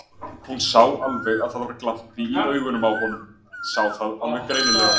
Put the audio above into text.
Hún sá alveg að það var glampi í augunum á honum, sá það alveg greinilega.